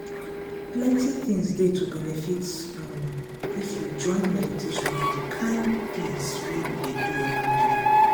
plenty things dey to benefit um if you join meditation to di kain things wey you dey do everyday.